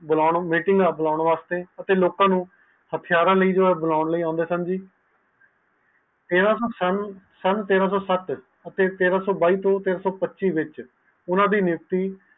ਅਤੇ ਲੋਕ ਨੂੰ ਹਥਿਆਰ ਨੂੰ ਬਣਾਓਨ ਲਈ ਅੰਡੇ ਹਨ ਸਨ ਤੇਰਾਸੋ ਸਤ ਤੇਰਾਸੋ ਬਾਈ ਤੋਂ ਤੇਰਾਸੋ ਪਚਿ ਵਿਚ